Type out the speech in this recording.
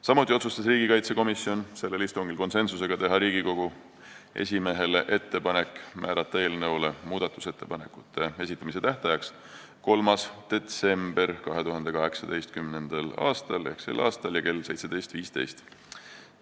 Samuti otsustas riigikaitsekomisjon sellel istungil konsensusega teha Riigikogu esimehele ettepaneku määrata eelnõu muudatusettepanekute esitamise tähtajaks 3. detsember 2018 kell 17.15.